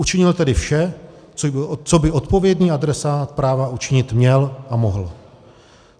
Učinil tedy vše, co by odpovědný adresát práva učinit měl a mohl.